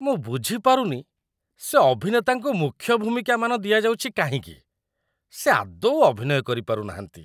ମୁଁ ବୁଝିପାରୁନି, ସେ ଅଭିନେତାଙ୍କୁ ମୁଖ୍ୟ ଭୂମିକାମାନ ଦିଆଯାଉଛି କାହିଁକି। ସେ ଆଦୌ ଅଭିନୟ କରିପାରୁନାହାଁନ୍ତି।